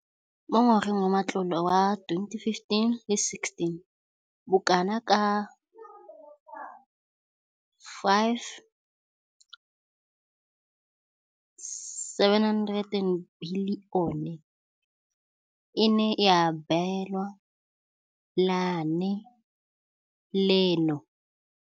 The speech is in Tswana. Mo ngwageng wa matlole wa 2015,16, bokanaka R5 703 bilione e ne ya abelwa lenaane leno.